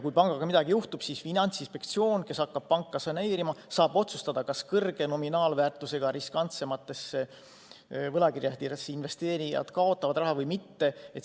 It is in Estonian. Kui pangaga midagi juhtub, siis Finantsinspektsioon, kes hakkab panka saneerima, saab otsustada, kas suure nominaalväärtusega riskantsematesse võlakirjadesse investeerijad kaotavad raha või mitte.